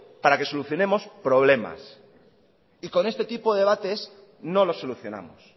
para que solucionemos problemas y con este tipo de debates no lo solucionamos